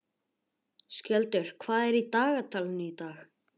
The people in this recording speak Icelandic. Skjöldur, hvað er í dagatalinu í dag?